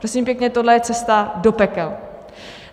Prosím pěkně, tohle je cesta do pekel.